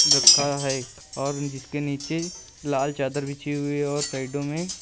रखा है और जिसके नीचे लाल चादर बिछी हुई और साइडों में--